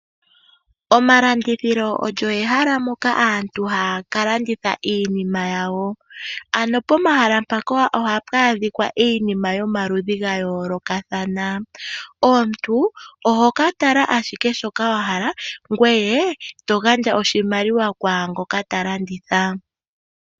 Omalandithilo olyo ehala moka aantu haya ka landitha iinima yawo. Pomahala mpaka ohapu adhika iinima yomaludhi ga yoolokathana. Omuntu ohoka landa ashike shoka wahala ngwee to gandja oshimaliwa kwaangoka ta landitha.